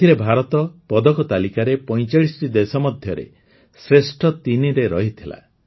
ଏଥିରେ ଭାରତ ପଦକ ତାଲିକାରେ ୪୫ଟି ଦେଶ ମଧ୍ୟରେ ଶ୍ରେଷ୍ଠ ତିନିରେ ରହିଥିଲା